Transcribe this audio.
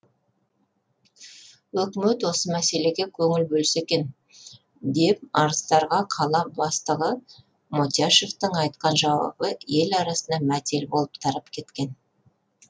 өкімет осы мәселеге көңіл бөлсе екен деп арыздарға қала бастығы мотяшевтің айтқан жауабы ел арасына мәтел болып тарап кеткен